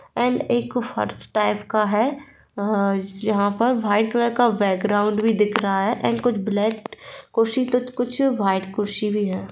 And एक फर्श type का है जहां पर वाइट कलर का बैकग्राउंड भी दिख रहा है और कुछ ब्लैक कुर्सी तो कुछ व्हाइट कुर्सी भी है।